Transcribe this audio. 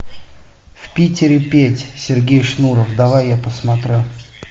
в питере петь сергей шнуров давай я посмотрю